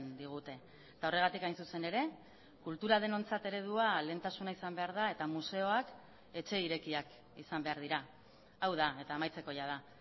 digute eta horregatik hain zuzen ere kultura denontzat eredua lehentasuna izan behar da eta museoak etxe irekiak izan behar dira hau da eta amaitzeko jada